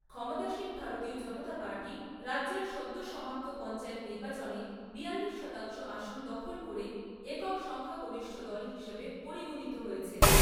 ক্ষমতাসীন ভারতীয় জনতা পার্টি রাজ্যের সদ্য সমাপ্ত পঞ্চায়েত নির্বাচনে বিয়াল্লিশ শতাংশ আসন দখল করে একক সংখ্যাগরিষ্ঠ দল হিসেবে পরিগণিত হয়েছে।